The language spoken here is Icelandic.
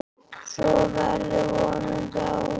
Svo verður vonandi áfram.